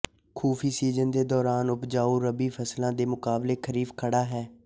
ਖੁਫੀ season ਦੇ ਦੌਰਾਨ ਉਪਜਾਊ ਰਬੀ ਫਸਲਾਂ ਦੇ ਮੁਕਾਬਲੇ ਖਰੀਫ ਖੜ੍ਹਾ ਹੈ